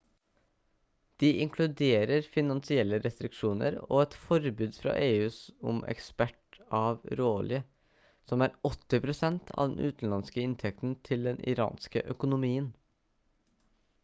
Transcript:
de inkluderer finansielle restriksjoner og et forbud fra eu om eksport av råolje som er 80 % av den utenlandske inntekten til den iranske økonomien